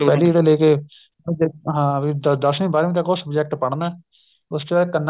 ਪਹਿਲੀ ਤੋਂ ਲੈ ਕੇ ਹਾਂ ਵੀ ਦਸਵੀ ਬਾਰਵੀ ਤੱਕ ਉਹ subject ਪੜ੍ਨਾਹ ਉਸ ਚ ਕੰਨਾ